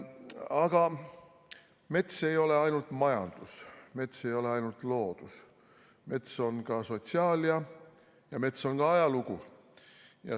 Aga mets ei ole ainult majandus, mets ei ole ainult loodus, mets on ka sotsiaalia ja mets on ka ajalugu.